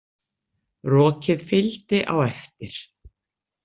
Rokið fylgdi á eftir.